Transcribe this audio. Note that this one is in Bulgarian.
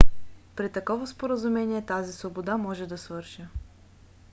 при такова споразумение тази свобода може да свърши